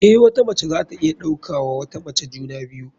Eh, wata mace zata iya ɗauka wa wata mace juna biyu.